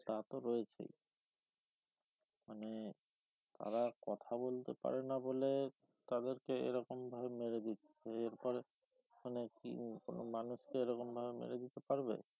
তা তো রয়েছেই মানে তারা কথা বলতে পারেনা বলে তাদেরকে এরকমভাবে মেরে দিচ্ছে এরপরে মানে কি কোনো মানুষকে এরকমভাবে মেরে দিতে পারবে